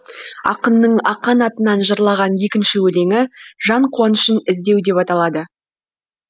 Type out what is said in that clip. ақынның ақан атынан жырлаған екінші өлеңі жан қуанышын іздеу деп аталады